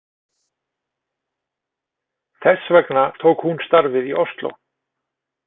Þess vegna tók hún starfið í Osló.